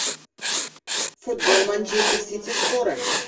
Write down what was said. футбол манчестер сити шпора